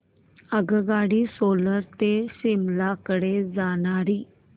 आगगाडी सोलन ते शिमला कडे जाणारी